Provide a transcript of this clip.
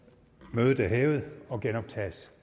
mødet er hævet og genoptages